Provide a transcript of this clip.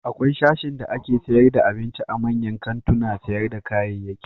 Akwai sashin dake sayar da abinci a manyan kantunan sayar da kayayyaki.